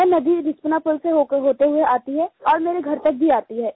वह नदी रिस्पना पुल से होते हुए आती है और मेरे घर तक भी आती है